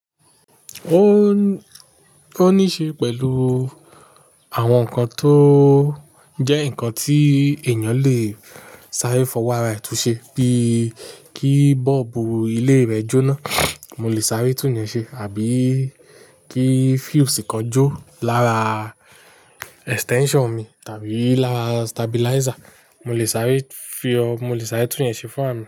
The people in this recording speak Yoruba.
Ó, ó ní ṣe pẹ̀lú àwọn nǹkan tó jẹ́ nǹkan tí èèyàn lè sáré fọwọ́ ara ètù ṣe, bíi kí bọ́ọ̀bù ilé rẹ̀ jóná, mo lè sáré tún yẹn ṣe àbí kí fuse kan jó lára extension mi tàbí lára stabilizer, mo lè sáré fi ọ-- mo lè sáré tún yẹn ṣe fún àmì.